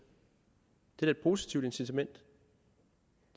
det er da et positivt incitament